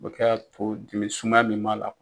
O bɛ kɛ ka to dimi suman min m'a la.